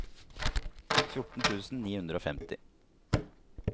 fjorten tusen ni hundre og femti